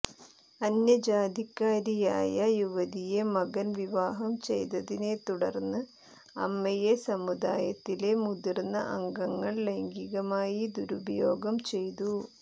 അന്യജാതിക്കാരിയായ യുവതിയെ മകൻ വിവാഹം ചെയ്തതിനെത്തുടർന്ന് അമ്മയെ സമുദായത്തിലെ മുതിർന്ന അംഗങ്ങൾ ലൈംഗികമായി ദുരുപയോഗം ചെയ്തു